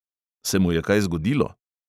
"Se mu je kaj zgodilo?"